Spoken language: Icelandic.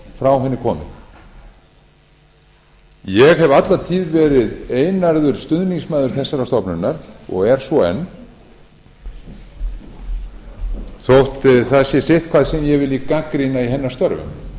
frá henni komið ég hef alla tíð verið einarður stuðningsmaður þessarar stofnunar og er svo enn þótt það sé sitthvað sem ég liti gagnrýna í hennar störfum